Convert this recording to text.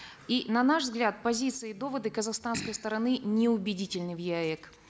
и на наш взгляд позиция и доводы казахстанской стороны неубедительны в еаэк